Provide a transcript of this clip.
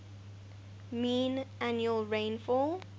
mean annual rainfall